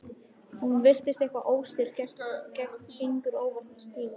Hún virðist eitthvað óstyrk, gengur óvart með sígar